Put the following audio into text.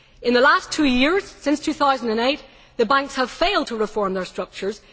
In the last two years, since 2008, the banks have failed to reform their structures.